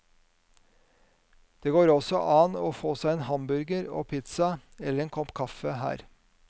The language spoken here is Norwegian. Det går også an å få seg en hamburger og pizza eller en kopp kaffe her.